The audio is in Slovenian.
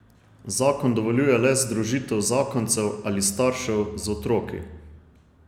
Zakon dovoljuje le združitev zakoncev ali staršev z otroki.